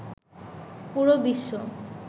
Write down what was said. পুরো বিশ্ব